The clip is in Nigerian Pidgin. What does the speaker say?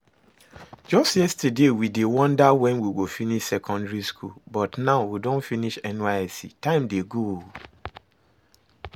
Just yesterday we dey wonder when we go finish secondary school, but now we don finish NYSC, time dey go